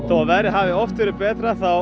að veðrið hafi verið betra þá